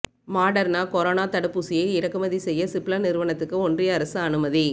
மாடர்னா கொரோனா தடுப்பூசியை இறக்குமதி செய்ய சிப்லா நிறுவனத்துக்கு ஒன்றிய அரசு அனுமதி